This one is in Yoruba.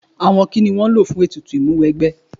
Àwọn kíni a nílò fún ètùtù Ìmúwẹgbẹ́?